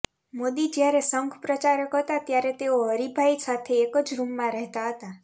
મોદી જ્યારે સંઘ પ્રચારક હતા ત્યારે તેઓ હરિભાઈ સાથે એક જ રૂમમાં રહેતા હતા